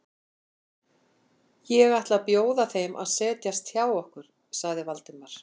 Ég ætla að bjóða þeim að setjast hjá okkur sagði Valdimar.